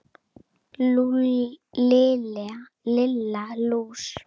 Lilla lús!